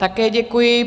Také děkuji.